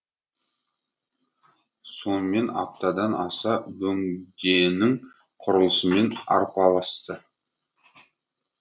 сонымен аптадан аса бөгденің құрылысымен арпалысты